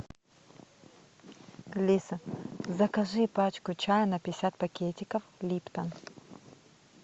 алиса закажи пачку чая на пятьдесят пакетиков липтон